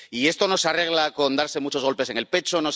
Y esto no se arregla con darse muchos golpes en el pecho